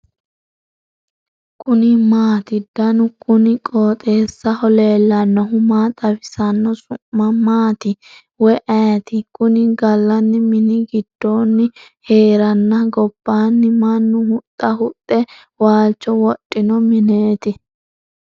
kuni maati ? danu kuni qooxeessaho leellannohu maa xawisanno su'mu maati woy ayeti ? kuni galanni mini gidoonni heerenna gobbanni mannu huxa huxxe wwlcho wodhino mineeti ?